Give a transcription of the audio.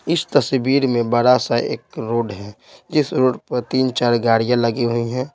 इस तस्वीर में बड़ा सा एक रोड है जिस रोड पर तीन-चार गाड़ियां लगी हुई हैं।